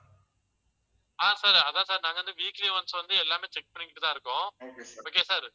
ஆஹ் sir அதான் sir நாங்க வந்து weekly once வந்து எல்லாமே check பண்ணிக்கிட்டுதான் இருக்கோம். okay sir